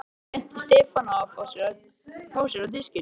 Hann benti Stefáni á að fá sér á diskinn.